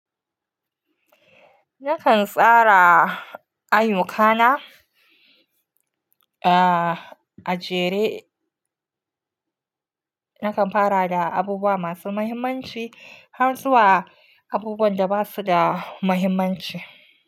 Nakan tsara ayyukana a jere, nakan fara da abubuwa masu muhimmanci har zuwa abubuwan da ba su da muhimmanci.